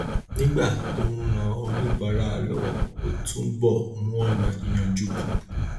nígbà tó ń ran oníbàárà lọwọ ó ń túbọ mú ònà yíyanjú kún